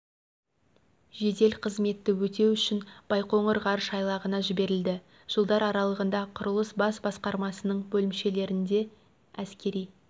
жедел қызметті өтеу үшін байқоңыр ғарыш айлағына жіберілді жылдар аралығында құрылыс бас басқармасының бөлімшелерінде әскери